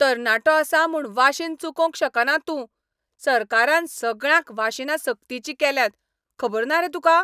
तरणाटो आसा म्हूण वाशीन चुकोवंक शकना तूं. सरकारान सगळ्यांक वाशिनां सक्तीचीं केल्यांत, खबर ना रे तुका?